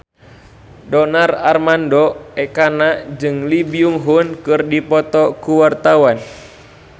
Donar Armando Ekana jeung Lee Byung Hun keur dipoto ku wartawan